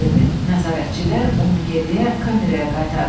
Nəzarətçilər onu geriyə kameraya qaytardılar.